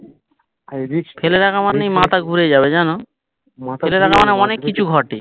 ফেলে রাখা মানেই মাথা ঘুরে যাবে জানো ফেলে রাখা মানে অনেক কিছু ঘটে